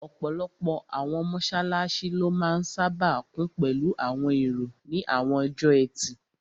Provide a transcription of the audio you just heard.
Ọ̀pọ̀lọpọ̀ àwọn mọ́sálásí ló máa n sáábà kún pẹ̀lú àwọn èrò ní àwọn ọjọ́ ẹtì